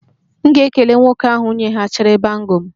M ga-ekele nwoke ahụ nyeghachiri bangle m